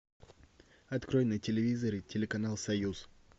открой на телевизоре телеканал союз